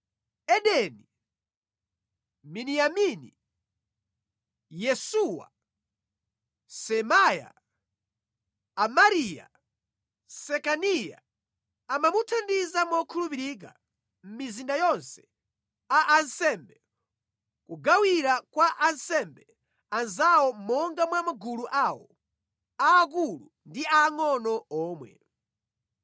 Edeni, Miniyamini, Yesuwa, Semaya, Amariya, Sekaniya amamuthandiza mokhulupirika mʼmizinda yonse a ansembe kugawira kwa ansembe anzawo monga mwa magulu awo, aakulu ndi aangʼono omwe.